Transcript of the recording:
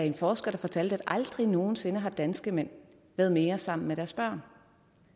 en forsker at aldrig nogen sinde har danske mænd været mere sammen med deres børn